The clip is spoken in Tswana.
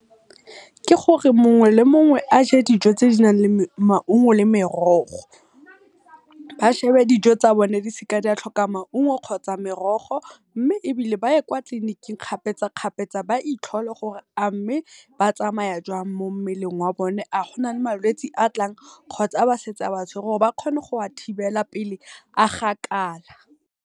Ke gore mongwe le mongwe aje dijo tse dinang le maungo le merogo. Ba shebe dijo tsa bone di seka di a tlhoka maungo kgotsa merogo, mme ebile ba ye kwa tleliniking kgapetsa kgapetsa ba itlhole gore a mme batsamaya jwang mo mmeleng wa bone, a gona le malwetsi a tlang kgotsa a ba setse ba a tshwere gore ba kgone go a thibela pele a gakala.